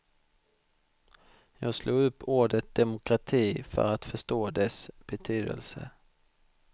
Jag slog upp ordet demokrati för att förstå dess betydelse.